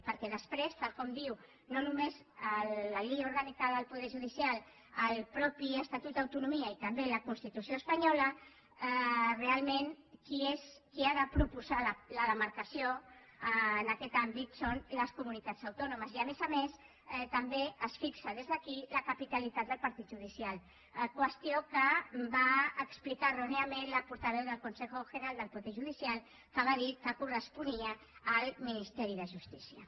perquè després tal com diu no només la llei orgànica del poder judicial el mateix estatut d’autonomia i també la constitució espanyola realment qui ha de proposar la demarcació en aquest àmbit són les comunitats autònomes i a més a més també es fixa des d’aquí la capitalitat del partit judicial qüestió que va explicar erròniament la portaveu del consejo general del poder judicial que va dir que corresponia al ministeri de justícia